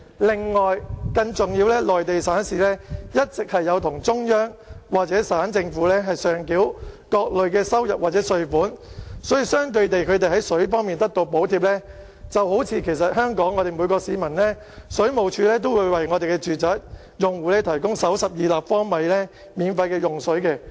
另外，更重要的是，內地省市一直有向中央或省政府上繳各類收入或稅款，所以，相對地，他們在水方面得到補貼，便正如香港水務署都會為本地住宅用戶提供首12立方米的免費用水量。